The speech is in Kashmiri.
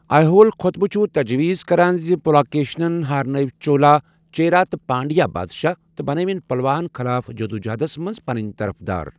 ایہول خوطبہٕ چھُ تجویز کران زِ پُلاکیشِنن ہارنٲوۍ چولا، چیرا تہٕ پانڈیا بادشاہ تہٕ بنٲوِن پلواہن خٕلاف جدوجہدس منٛز پنٕنۍ طرفدار ۔